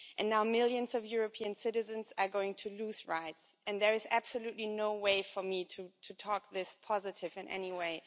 And now millions of European citizens are going to lose rights, and there is absolutely no way for me to talk this positive in any way.